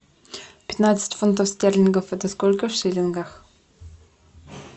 пятнадцать фунтов стерлингов это сколько в шиллингах